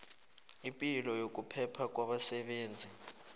ipilo nokuphepha kwabasebenzi